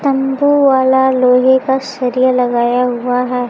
तंबू वाला लोहे का सरिया लगाया हुआ है।